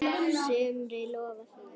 sumri lofar hlýju.